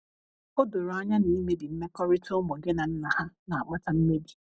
o doro anya na imebi mmekọrita ụmụ gi na nna ha na akpata mmebi